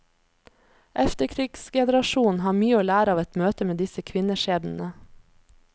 Efterkrigsgenerasjonen har mye å lære av et møte med disse kvinneskjebnene.